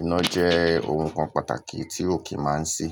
Iná jẹ́ ohun kan pàtàkì tí ò kí máa ń ṣí.